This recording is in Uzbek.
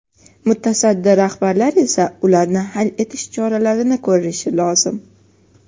Mutasaddi rahbarlar esa ularni hal etish choralari ko‘rishi lozim.